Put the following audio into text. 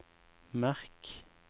merk